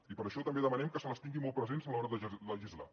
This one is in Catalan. i per això també demanem que les tinguin molt presents a l’hora de legislar